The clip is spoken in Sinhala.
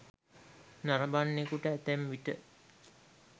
නරඹන්නෙකුට ඇතැම් විට